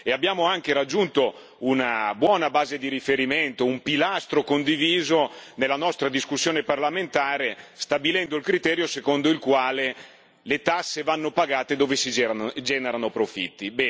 Abbiamo anche raggiunto una buona base di riferimento, un pilastro condiviso nella nostra discussione parlamentare, stabilendo il criterio secondo il quale le tasse vanno pagate dove si generano profitti.